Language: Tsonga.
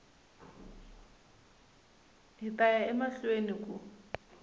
hi ta ya emahlweni ku